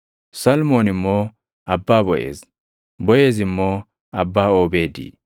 Salmoon immoo abbaa Boʼeez; Boʼeez immoo abbaa Oobeedi;